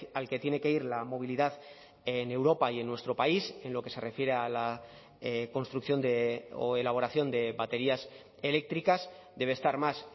al que tiene que ir la movilidad en europa y en nuestro país en lo que se refiere a la construcción o elaboración de baterías eléctricas debe estar más